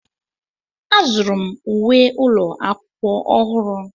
Azụrụ m uwe ụlọ akwụkwọ ọhụrụ.